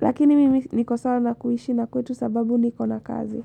Lakini mimi niko sawa na kuishi na kwetu sababu niko na kazi.